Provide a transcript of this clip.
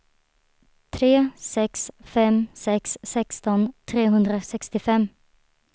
tre sex fem sex sexton trehundrasextiofem